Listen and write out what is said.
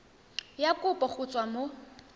ya kopo go tswa mo